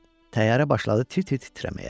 Təyyarə başladı tir-tir titrəməyə.